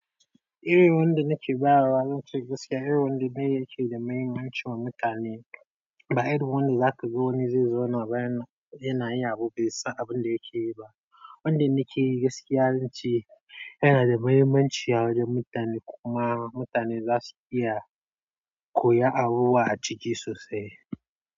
Irin wanda nake bayar wa zance gaskiya irin wanda ne yake da mahimmanci wa mutane ba irin wanda zaka zo wani zauna bayan yana yin abu bai san abin da yake yi ba. Wanda nake yi gaskiya zan ce yana da mahimmanci a wajen mutane kuma mutane za su iya koya abubuwa a ciki sosai.